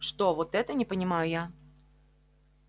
что вот это не понимаю я